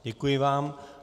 Děkuji vám.